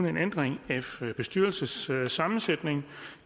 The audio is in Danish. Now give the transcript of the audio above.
en ændring af bestyrelsessammensætning